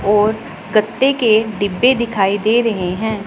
और गत्ते के डिब्बे दिखाई दे रहे हैं।